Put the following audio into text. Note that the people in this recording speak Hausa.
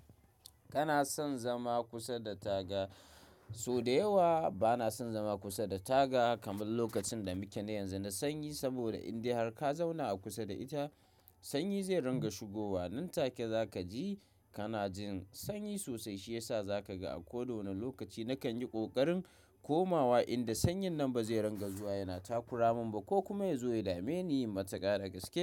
Kana son zama kusa da taga? So da yawa bana son zama kusa da taga, kamar lokacin da muke na yanzu na sanyi. Saboda indai har ka zauna a kusa da ita, sanyi zai ringa shigowa. Nan take za kaji kana jin sanyi sosai, shi yasa za ka ga a kowane lokaci na kan yi ƙoƙarin komawa inda sanyin nan ba zai ringa zuwa yana takuramin ba, ko kuma ya zo ya dame ni yin mataka na gaske.